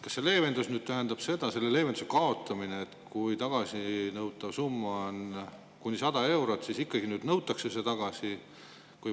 Kas see leevenduse kaotamine tähendab seda, et kui tagasinõutav summa on kuni 100 eurot, siis ikkagi nüüd nõutakse see tagasi?